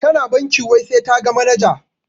Tana bankin wai sai taga manaja.